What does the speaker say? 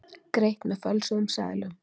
Greitt með fölsuðum seðlum